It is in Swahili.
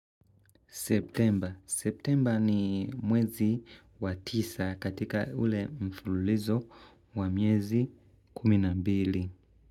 Septemba. Septemba ni mwezi wa tisa katika ule mfululizo wa miezi kumi na mbili.